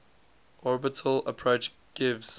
orbital approach gives